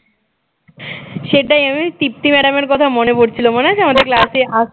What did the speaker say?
সেটাই আমাদের তৃপ্তি madam এর কথা মনে পড়ছিল মনে আছে আমাদের class এ আস